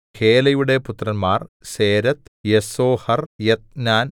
ഹേലയുടെ പുത്രന്മാർ Zereth Jezoar Ethnan